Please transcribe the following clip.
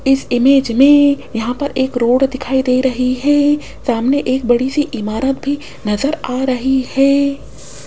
इस इमेज में यहां पर एक रोड दिखाई दे रही है सामने एक बड़ी सी इमारत भी नजर आ रही है।